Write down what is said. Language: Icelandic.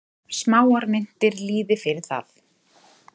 Smáar myntir lýði fyrir það.